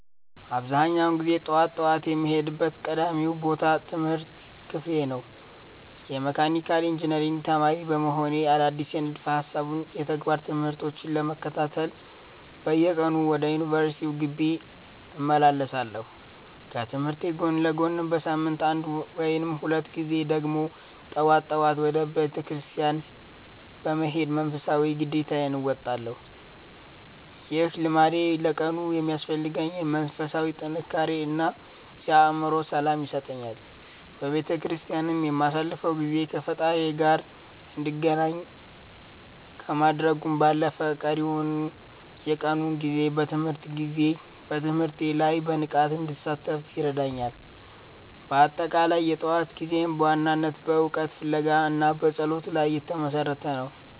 አብዛኛውን ጊዜ ጠዋት ጠዋት የምሄድበት ቀዳሚው ቦታ የትምህርት ክፍሌ ነው። የመካኒካል ኢንጂነሪንግ ተማሪ እንደመሆኔ፣ አዳዲስ የንድፈ ሃሳብና የተግባር ትምህርቶችን ለመከታተል በየቀኑ ወደ ዩኒቨርሲቲው ግቢ እመላለሳለሁ። ከትምህርቴ ጎን ለጎንም በሳምንት አንድ ወይም ሁለት ጊዜ ደግሞ ጠዋት ጠዋት ወደ ቤተክርስቲያን በመሄድ መንፈሳዊ ግዴታዬን እወጣለሁ። ይህ ልምዴ ለቀኑ የሚያስፈልገኝን መንፈሳዊ ጥንካሬ እና የአእምሮ ሰላም ይሰጠኛል። በቤተክርስቲያን የማሳልፈው ጊዜ ከፈጣሪዬ ጋር እንድገናኝ ከማድረጉም ባለፈ፣ ቀሪውን የቀኑን ጊዜ በትምህርቴ ላይ በንቃት እንድሳተፍ ይረዳኛል። በአጠቃላይ፣ የጠዋት ጊዜዬ በዋናነት በእውቀት ፍለጋ እና በጸሎት ላይ የተመሰረተ ነው።